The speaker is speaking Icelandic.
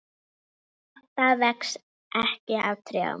Vinátta vex ekki á trjám.